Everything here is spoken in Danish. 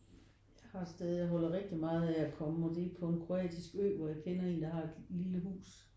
Har stadig og holder rigtig meget af at komme og det er på en kroatisk ø hvor jeg kender en der har et lille hus